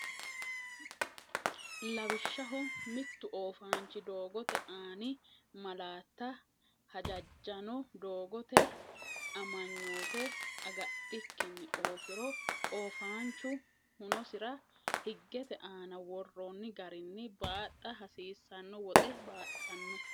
Lawishshaho, mittu oofaanchi doo- gote aani malaatta hajajjanno doogote amanyoote agadhikkinni oofiro, oofaanchu hunosira higgete aana worroonni garinni baaxxa hasiissanno woxe baaxxanno.